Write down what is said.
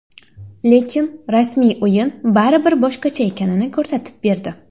Lekin rasmiy o‘yin baribir boshqacha ekanini ko‘rsatib berdi.